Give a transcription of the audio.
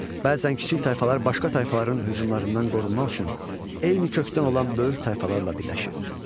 Bəzən kiçik tayfalar başqa tayfaların hücumlarından qorunmaq üçün eyni kökdən olan böyük tayfalarla birləşirdi.